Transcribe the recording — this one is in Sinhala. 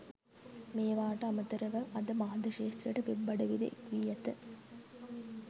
මේවාට අමතරව අද මාධ්‍ය ක්‍ෂේත්‍රයට වෙබ් අඩවිද එක්වී ඇත.